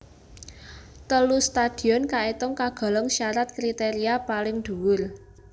Telu stadion kaitung kagolong syarat kriteria paling dhuwur